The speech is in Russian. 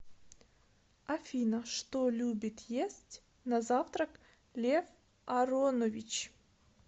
афина что любит есть на завтрак лев аронович